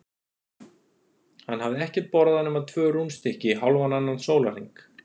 Hann hafði ekkert borðað nema tvö rúnstykki í hálfan annan sólarhring.